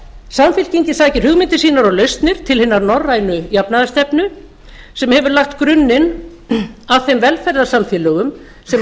samfylkingin sækir hugmyndir sínar og lausnir til hinnar norrænu jafnaðarstefnu sem hefur lagt grunninn að þeim velferðarsamfélögum sem